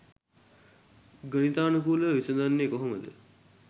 ගණිතානුකූලව විසඳන්නෙ කොහොමද